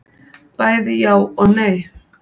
Bæði já og nei.